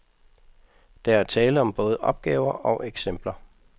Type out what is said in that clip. Der er tale om både opgaver og eksempler.